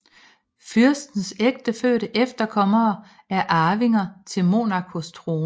Fyrstens ægtefødte efterkommere er arvinger til Monacos trone